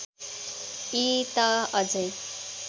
यी त अझै